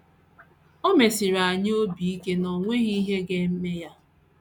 O mesiri anyị obi ike na o nweghị ihe ga - eme ya.